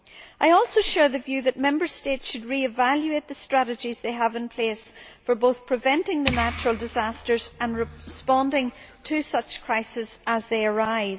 I also share the view that Member States should revaluate the strategies they have in place for both preventing the natural disasters and responding to such crises as they arise.